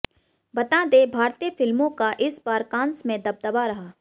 बता दें भारतीय फिल्मों का इस बार कान्स में दबदबा रहा